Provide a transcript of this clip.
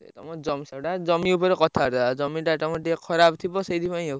ତମ ଜମି ସେଇଟା ଜମି ଉପରେ କଥାବାର୍ତ୍ତା, ଜମିଟା ତମର ଟିକେ ଖରାପ ଥିବ, ସେଇଥିପାଇଁ ଆଉ।